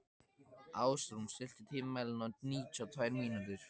Ásrún, stilltu tímamælinn á níutíu og tvær mínútur.